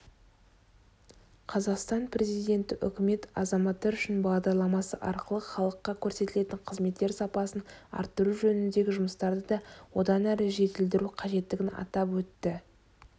қазақстан президенті үкімет азаматтар үшін бағдарламасы арқылы халыққа көрсетілетін қызметтер сапасын арттыру жөніндегі жұмыстарды да одан әрі жетілдіру қажеттігін атап өтті